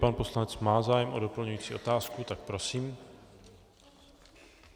Pan poslanec má zájem o doplňující otázku, tak prosím.